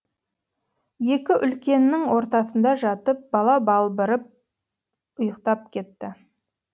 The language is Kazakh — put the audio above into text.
екі үлкеннің ортасында жатып бала балбырап ұйықтап кетті